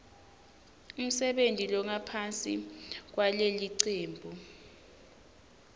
umsebenti longaphansi kwalelicembu